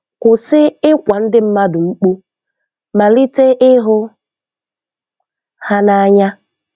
Kwụsị ịkwa ndị mmadụ mkpu, malite ịhụ ha n'anya.